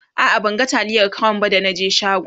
a'a ban ga taliyar crown ba da na je shagon